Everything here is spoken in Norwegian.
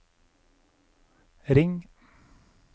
ring